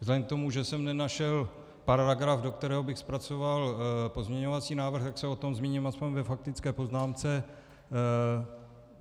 Vzhledem k tomu, že jsem nenašel paragraf, do kterého bych zpracoval pozměňovací návrh, tak se o tom zmíním aspoň ve faktické poznámce.